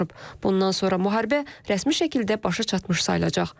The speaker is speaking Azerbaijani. Bundan sonra müharibə rəsmi şəkildə başa çatmış sayılacaq.